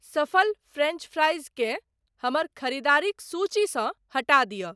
सफ़ल French fries केँ हमर खरीदारिक सूचीसँ हटा दिय।